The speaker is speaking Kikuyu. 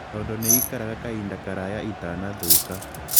Tondũ nĩ ii karaga kahinda karaya itanathũka